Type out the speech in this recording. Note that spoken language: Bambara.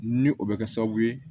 Ni o bɛ kɛ sababu ye